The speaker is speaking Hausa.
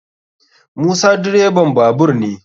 Musa direban babur ne.